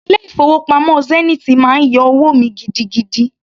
Ilé-ìfowópamọ́ Zenith máa ń yọ owó mi gidigidi.